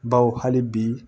Baw hali bi